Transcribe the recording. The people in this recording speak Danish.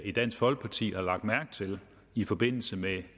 i dansk folkeparti har lagt mærke til i forbindelse med